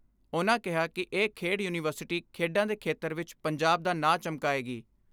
ਉਨ੍ਹਾਂ ਕਿਹਾ ਕਿ ਇਹ ਖੇਡ ਯੂਨੀਵਰਸਿਟੀ ਖੇਡਾਂ ਦੇ ਖੇਤਰ ਵਿਚ ਪੰਜਾਬ ਦਾ ਨਾਂ ਚਮਕਾਏਗੀ।